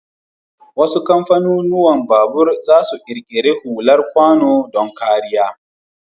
Wasu kamfanunuwan babur zasu ƙirƙiri hular kwano don kariya.